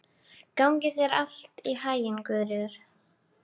Gangi þér allt í haginn, Guðríður.